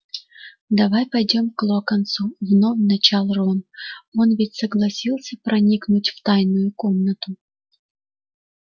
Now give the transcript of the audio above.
давай пойдём к локонсу вновь начал рон он ведь согласился проникнуть в тайную комнату